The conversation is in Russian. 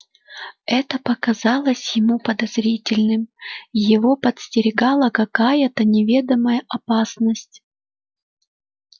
это показалось ему подозрительным его подстерегала какая-то неведомая опасность